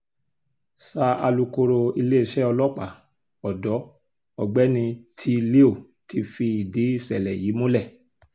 sa alūkkóró iléeṣẹ́ ọlọ́pàá ọ̀dọ́ ọ̀gbẹ́ni tèé-léo ti fìdí ìṣẹ̀lẹ̀ yìí múlẹ̀